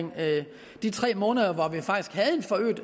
de tre måneder hvor vi